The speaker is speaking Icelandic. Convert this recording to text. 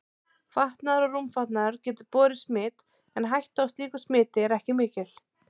Fatnaður og rúmfatnaður getur borið smit en hætta á slíku smiti er ekki mikil.